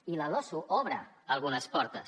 i la losu obre algunes portes